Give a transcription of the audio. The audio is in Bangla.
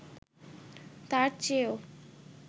তার চেয়েও